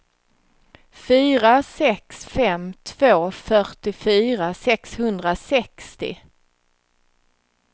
fyra sex fem två fyrtiofyra sexhundrasextio